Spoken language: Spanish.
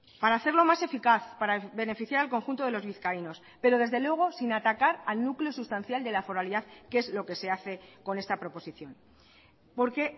para hacerlo más eficaz para beneficiar al conjunto de los vizcaínos pero desde luego sin atacar al núcleo sustancial de la foralidad que es lo que se hace con esta proposición porque